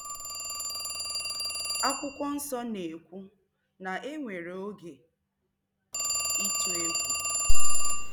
Akwụkwọ Nsọ na-ekwu na e nwere “oge ịtụ egwu.”